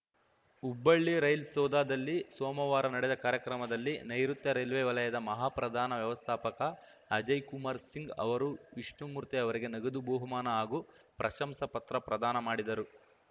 Hubballi rail ಸೌಧದಲ್ಲಿ ಸೋಮವಾರ ನಡೆದ ಕಾರ್ಯಕ್ರಮದಲ್ಲಿ ನೈಋುತ್ಯ ರೈಲ್ವೆ ವಲಯದ ಮಹಾಪ್ರಧಾನ ವ್ಯವಸ್ಥಾಪಕ ಅಜಯ್ ಕುಮಾರ್ ಸಿಂಗ್‌ ಅವರು ವಿಷ್ಣುಮೂರ್ತಿ ಅವರಿಗೆ ನಗದು ಬಹುಮಾನ ಹಾಗೂ ಪ್ರಶಂಸಾ ಪತ್ರ ಪ್ರದಾನ ಮಾಡಿದರು